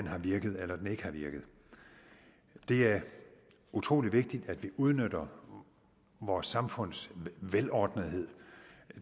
har virket eller den ikke har virket det er utrolig vigtigt at vi udnytter vores samfunds velordnethed